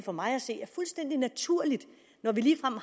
for mig at se fuldstændig naturligt vi